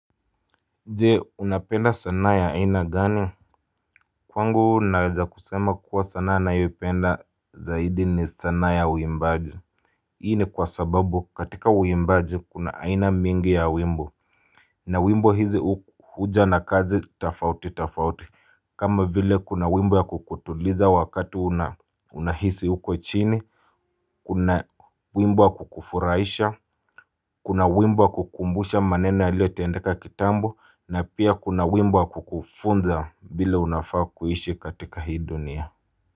Je unapenda sanaa ya aina gani Kwangu naweza kusema kuwa sana ninayoipenda zaidi ni sanaa ya uimbaji Hii ni kwa sababu katika uimbaji kuna aina mingi ya wimbo na wimbo hizi huja na kazi tofauti tofauti kama vile kuna wimbo ya kukutuliza wakati unahisi huko chini Kuna wimbo ya kukufurahisha Kuna wimbo kukumbusha maneno yaliyotendeka kitambo na pia kuna wimbo kukufunza vile unafaa kuishi katika hii dunia.